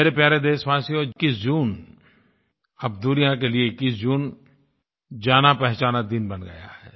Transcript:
मेरे प्यारे देशवासियों 21 जून अब दुनिया के लिये 21 जून जानापहचाना दिन बन गया है